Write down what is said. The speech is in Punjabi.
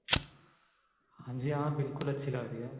ਹਾਂਜੀ ਹਾਂ ਬਿਲਕੁਲ ਅੱਛੀ ਲੱਗਦੀ ਏ